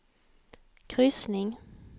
kryssning